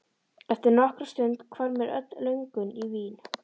Eftir nokkra stund hvarf mér öll löngun í vín.